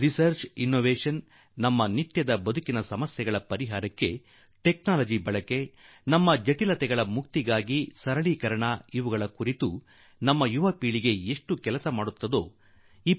ಸಂಶೋಧನೆ ಮತ್ತು ಅನ್ವೇಷಣೆ ನಮ್ಮ ದೈನಂದಿನ ಬದುಕಿನ ಸಂಮಸ್ಯೆಗಳಿಗೆ ಪರಿಹಾರ ಕಂಡುಕೊಳ್ಳಲು ತಂತ್ರಜ್ಞಾನ ಬಳಕೆ ನಮ್ಮ ಕಷ್ಟಗಳಿಂದ ಮುಕ್ತಿ ಪಡೆಯಲು ಸರಳೀಕರಣ ಇವೆಲ್ಲಾ ಅಬ್ದುಲ್ ಕಲಾಂ ಜೀ ಅವರಿಗೆ ನೈಜ ಶ್ರದ್ಧಾಂಜಲಿ ಎಂಬುದು ನನ್ನ ವಿಶ್ವಾಸ